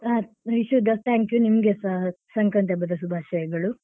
ಹಾ wish you the thank you ನಿಮ್ಗೆಸ ಸಂಕ್ರಾಂತಿ ಹಬ್ಬದ ಶುಭಾಶಯಗಳು.